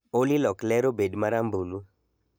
Olly lok ler obed marambulu